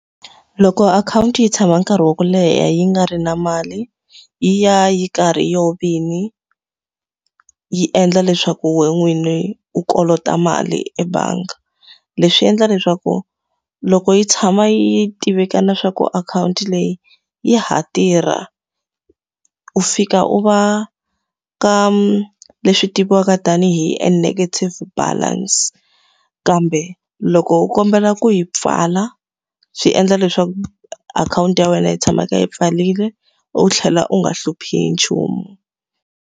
Loko akhawunti yi tshama nkarhi wa ku leha yi nga ri na mali, yi ya yi karhi yi yona vini yi endla leswaku wena n'wini u kolota mali ebangi. Leswi endla leswaku loko yi tshama yi tivekana swa ku akhawunti leyi ya ha tirha, u fika u va ka leswi tiviwaka tanihi a negative balance. Kambe loko u kombela ku yi pfala, swi endla leswaku akhawunti ya wena yi tshama yi kha yi pfarile u tlhela u nga hluphi nchumu.